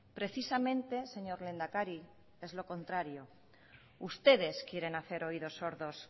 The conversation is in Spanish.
precisamente señor lehendakari es lo contrario ustedes quieren hacer oídos sordos